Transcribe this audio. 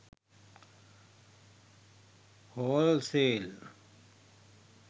hall sale